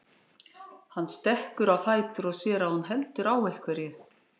Hann stekkur á fætur og sér að hún heldur á einhverju.